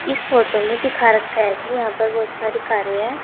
इस फोटो में दिखा रखा है कि यहां पर बहोत सारी कारे है।